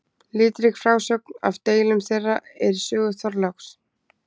Litrík frásögn af deilum þeirra er í sögu Þorláks.